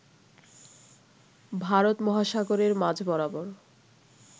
ভারত মহাসাগরের মাঝ বরাবর